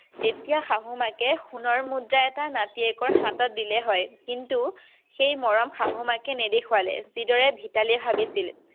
তেতিয়া শাহু মাকে সোনৰ মুদ্ৰা এটা নাতিয়েকৰ হাতত দিলে হয় কিন্তু এই মৰম শাহ মাকে নেদেখুৱালে যি দৰে ভিতালীয়ে ভাবিছিল।